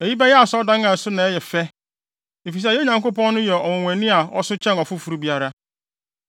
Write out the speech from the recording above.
“Eyi bɛyɛ Asɔredan a ɛso na ɛyɛ fɛ, efisɛ yɛn Nyankopɔn no yɛ ɔnwonwani a ɔso kyɛn ɔfoforo biara.